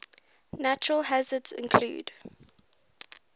natural hazards include